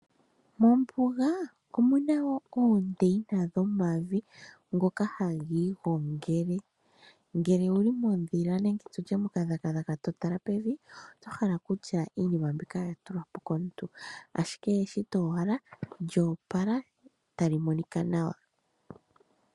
Mombuga omuna wo oondeyina dhomavi ngoka haga igongele, ngele owuli mondhila nenge tutye mokadhagadhaga totala pevi otohala kutya iinima mbika oya tulwapo komuntu ashike eshito owala lyo opala tali monika nawa.